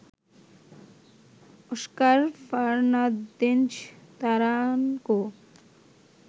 Oscar Fernandez Taranco